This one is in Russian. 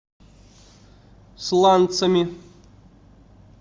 сланцами